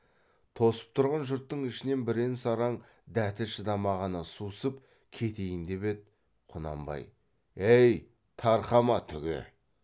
тосып тұрған жұрттың ішінен бірен саран дәті шыдамағаны сусып кетейін деп еді құнанбай ей тарқама түге